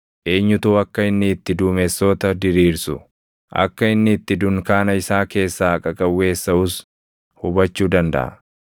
Eenyutu akka inni itti duumessoota diriirsu, akka inni itti dunkaana isaa keessaa qaqawweessaʼus hubachuu dandaʼa?